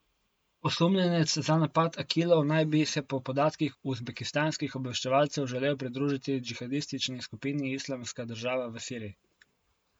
Osumljenec za napad Akilov naj bi se po podatkih uzbekistanskih obveščevalcev želel pridružiti džihadistični skupini Islamska država v Siriji.